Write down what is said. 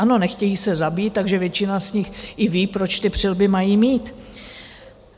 Ano, nechtějí se zabít, takže většina z nich i ví, proč ty přilby mají mít.